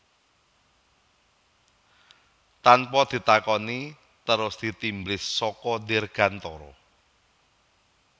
Tanpa ditakoni terus ditimblis saka dirgantara